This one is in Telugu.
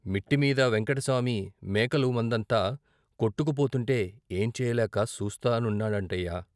"మిట్టమీద వెంకటసామి మేకలు మందంతా కొట్టుకు పోతుంటే ఏం చెయ్యలేక సూస్తా నున్నాడంట్టయ్య"